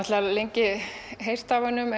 lengi heyrt af honum